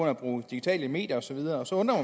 at bruge digitale medier og så videre så undrer